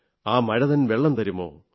ആ മഴതൻ വെള്ളം തരുമോ